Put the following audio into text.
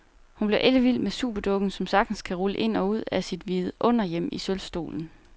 Hun blev ellevild med superdukken, som sagtens kan rulle ind og ud af sit vidunderhjem i sølvstolen.